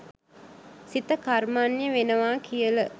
සිත කර්මණ්‍ය වෙනවා කියල..